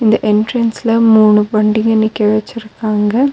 இந்த என்ட்ரன்ஸ்ல மூணு வண்டிங்க நிக்க வச்சிருக்காங்க.